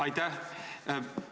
Aitäh!